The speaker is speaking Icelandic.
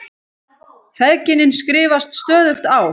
Feðginin skrifast stöðugt á.